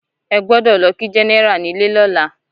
Ẹ gbọ́dọ̀ lọ kí Gẹ́nẹ́rà nílé lọ́la!